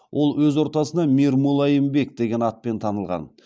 ол өз ортасына мир мулайим бек деген атпен танылған